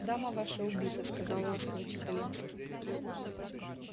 дама ваша убита сказал ласково чекалинский